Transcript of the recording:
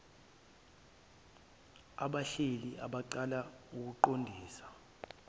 abaphehla abacala aqondiswe